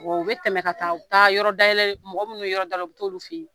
U bɛ tɛmɛ ka taa u taa yɔrɔ dayɛlɛ mɔgɔ minnu ye yɔrɔ dayɛlɛ u bɛ t'olu fɛ yen